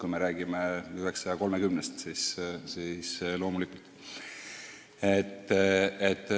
Me ju räägime 930 koori- ja orkestrijuhist.